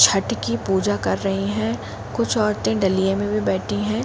छठ की पूजा कर रहे हैं। कुछ औरतें डलिये में भी बैठी हैं।